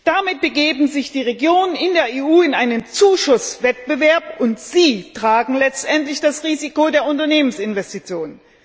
Damit begeben sich die Regionen in der EU in einen Zuschusswettbewerb und sie tragen letztendlich das Risiko der Unternehmensinvestitionen.